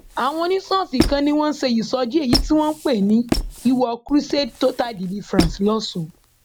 àwọn oníṣọọṣì kan ni wọn ń ṣe ìsọjí èyí tí wọn pè ní iwọ cs] crusade total deliverance lọsùn